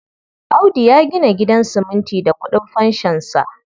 Audu ya gina gidan siminti da ƙudin fanshonsa.